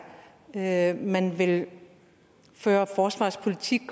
at man vil føre forsvarspolitik